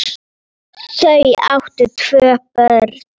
Þau áttu tvö börn.